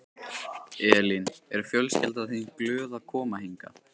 Elín: Er fjölskyldan þín glöð að koma hingað?